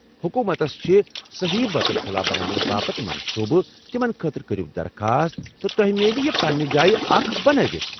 حکومتس چھِ سہی بیتُل خُلا بناونہٕ باپتھ منصوٗبہٕ، تِمن خٲطرٕ کٔرو درخواست تہٕ تۄہہ میلہِ یہِ پننہ جایہ اکھ بنٲوِتھ ۔